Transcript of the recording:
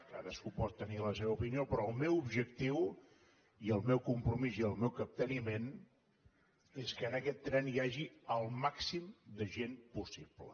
cadascú pot tenir la seva opinió però el meu objectiu i el meu compromís i el meu capteniment és que en aquest tren hi hagi el màxim de gent possible